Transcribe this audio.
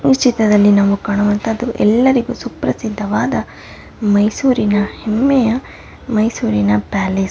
ಈ ಚಿತ್ರದಲ್ಲಿ ನಾವು ಕಾಣುವಂತಹದ್ದು ಎಲ್ಲರಿಗೂ ಸುಪ್ರಸಿದ್ಧವಾದ ಮೈಸೂರಿನ ಹೆಮ್ಮೆಯ ಮೈಸೂರಿನ ಪ್ಯಾಲೇಸ್ .